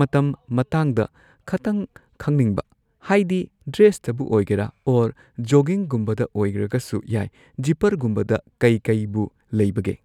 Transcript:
ꯃꯇꯝ ꯃꯇꯥꯡꯗ ꯈꯇꯪ ꯈꯪꯅꯤꯡꯕ ꯍꯥꯏꯗꯤ ꯗ꯭ꯔꯦꯁꯇꯕꯨ ꯑꯣꯏꯒꯦꯔꯥ ꯑꯣꯔ ꯖꯣꯒꯤꯡꯒꯨꯝꯕꯗ ꯑꯣꯏꯔꯒꯁꯨ ꯌꯥꯏ ꯖꯤꯞꯄꯔꯒꯨꯝꯕꯗ ꯀꯩ ꯀꯩꯕꯨ ꯂꯩꯕꯒꯦ꯫